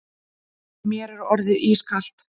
Mér er orðið skítkalt.